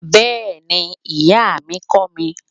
Bẹ́ẹ̀ni, Iya mi kọ mi